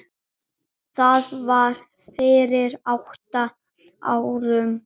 Það var fyrir átta árum